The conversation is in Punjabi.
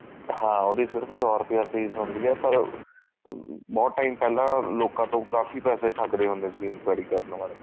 ਹਾਂ ਉਹਦੀ ਸਿਰਫ ਸੋ ਰੁਪਇਆ fees ਹੁੰਦੀ ਆ ਪਰ ਬਹੁਤ time ਪਹਿਲਾਂ ਲੋਕਾਂ ਤ੍ਗੋੰ ਕਾਫੀ ਪੈਸੇ ਠੱਗਦੇ ਹੁੰਦੇ ਸੀ enquiry ਕਰਨ ਵਾਲੇ